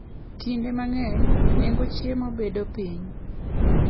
Kinde mang'eny, nengo chiemo bedo piny.